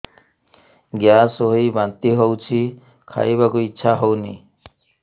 gas ହୋଇ ବାନ୍ତି ହଉଛି ଖାଇବାକୁ ଇଚ୍ଛା ହଉନି